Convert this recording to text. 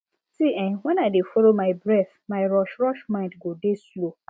see eh when i dey follow my breath my rushrush mind go dey slow